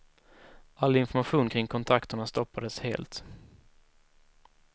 All information kring kontakterna stoppades helt.